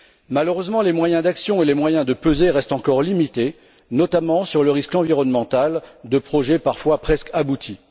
Malheureusement, ses moyens d'action et de pression restent encore limités, notamment sur le risque environnemental de projets parfois presque aboutis.